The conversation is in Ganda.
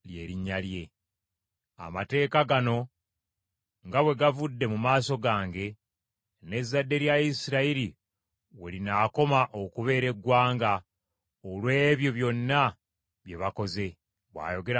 “Amateeka gano nga bwe gavudde mu maaso gange, n’ezzadde lya Isirayiri we linaakoma okubeera eggwanga olw’ebyo byonna bye bakoze,” bw’ayogera Mukama Katonda.